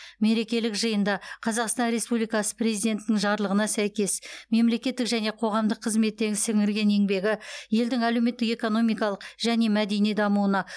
мерекелік жиында қазақстан республикасы президентінің жарлығына сәйкес мемлекеттік және қоғамдық қызметте сіңірген еңбегі елдің әлеуметтік экономикалық және мәдени дамуына